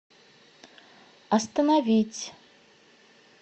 остановить